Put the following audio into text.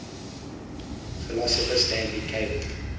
philosopher stanley cavell